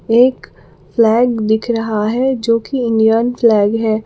एक फ्लैग दिख रहा है जो कि इंडियन फ्लैग है।